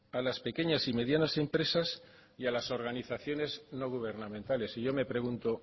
a las pequeñas y medianas empresas y a las organizaciones no gubernamentales y yo me pregunto